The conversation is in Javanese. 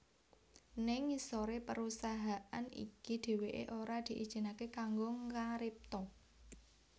Ning ngisoré perusahaan iki dheweké ora diijinaké kanggo ngaripta